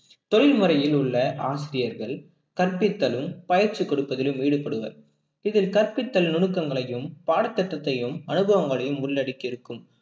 தொழில் முறையில் உள்ள ஆசிரியர்கள் கற்பித்தலும் பயிற்சி கொடுப்பதிலும் ஈடுபடுவர் இதில் கற்பித்தல் நுணுக்கங்களையும் பாடத்திட்டத்தையும் அனுபவங்களையும் உள்ளடக்கி இருக்கும்